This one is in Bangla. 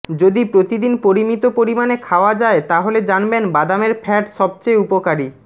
যদি প্রতি দিন পরিমিত পরিমাণে খাওয়া যায় তাহলে জানবেন বাদামের ফ্যাট সবচেয়ে উপকারী